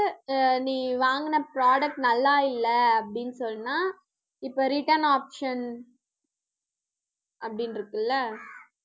அஹ் நீ வாங்கின product நல்லா இல்லை அப்படின்னு சொன்னா இப்போ return option அப்படின்னு இருக்குல்ல